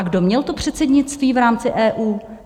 A kdo měl to předsednictví v rámci EU?